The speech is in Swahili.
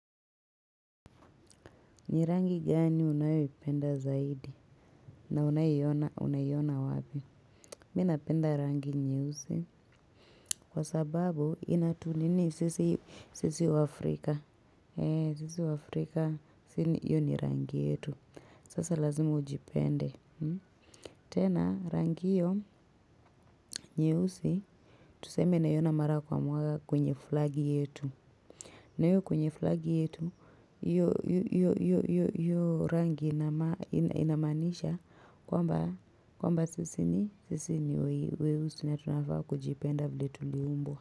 Ni rangi gani unayoipenda zaidi na unayoiona unaiona wapi. Mimi napenda rangi nyeusi. Kwa sababu inatu nini sisi sisi waafrika. Sisi waafrika hio ni rangi yetu. Sasa lazimu ujipende. Tena rangi hiyo nyeusi. Tuseme naiona mara kwa mara kwenye flagi yetu. Na hiyo kwenye flagi yetu, hio rangi inamaanisha kwamba sisi ni weusi na tunafaa kujipenda vili tuliumbwa.